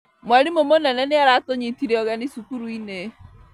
Mwarimũ mũnene nĩaratũnyitire ũgeni cukuru-inĩ